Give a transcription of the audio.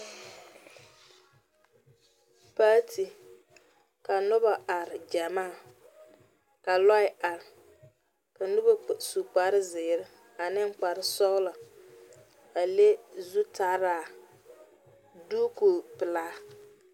Paati ka noba are gyamaa ka loɛ ka noba su kparre zeere ne kparre sɔgla a le zutaara diiko pelaa.